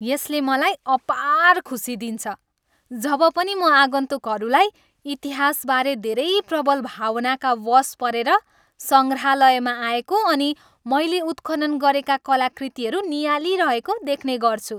यसले मलाई अपार खुसी दिन्छ जब पनि म आगन्तुकहरूलाई इतिहासबारे धेरै प्रबल भावनाका वश् परेर सङ्ग्रहालयमा आएको अनि मैले उत्खनन गरेका कलाकृतिहरू नियाली रहेको देख्नेगर्छु।